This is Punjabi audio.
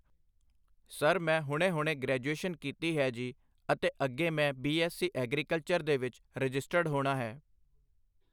ਸਰ ਮੈਂ ਹੁਣੇ-ਹੁਣੇ ਗ੍ਰੈਜੂਏਸ਼ਨ ਕੀਤੀ ਹੈ ਜੀ ਅਤੇ ਅੱਗੇ ਮੈਂ ਬੀ ਐੱਸ ਸੀ ਐਗਰੀਕਲਚਰ ਦੇ ਵਿੱਚ ਰਾਜਿਸਟਰਡ ਹੋਣਾ ਹੈ।